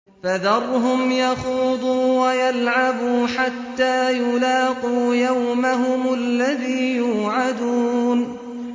فَذَرْهُمْ يَخُوضُوا وَيَلْعَبُوا حَتَّىٰ يُلَاقُوا يَوْمَهُمُ الَّذِي يُوعَدُونَ